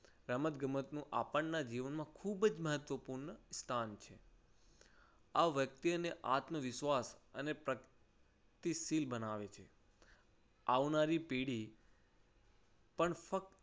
રમત ગમત આપણના જીવનમાં ખૂબ જ મહત્વપૂર્ણ સ્થાન છે. આ વ્યક્તિ અને આત્મવિશ્વાસ અને પ્રગતિશીલ બનાવે છે. આવનારી પેઢી પણ ફક્ત